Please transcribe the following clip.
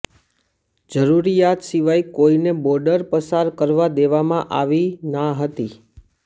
જરૂરિયાત સિવાય કોઈને બોર્ડર પસાર કરવા દેવામાં આવી ના હતી